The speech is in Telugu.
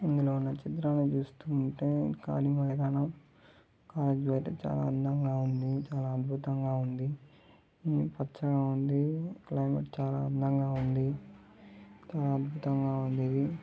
ఇందులో ఉన్న చిత్రంలో చూస్తుంటే కాలి మైదాన చాలా అందంగా ఉందని చాలా అద్భుతంగా ఉంది. పచ్చగా ఉంది. క్త్లెమేట్ చాలా అందంగా ఉంది. చాలా అద్భుతంగా ఉంది.